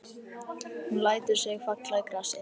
Hún lætur sig falla í grasið.